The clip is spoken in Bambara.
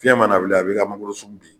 Fiyɛn mana wuli a bɛ i ka magoro sun bin.